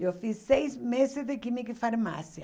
Eu fiz seis meses de química e farmácia.